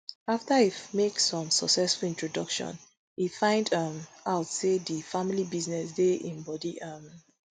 afta e make some successful introduction e find um out say di family business dey im bodi um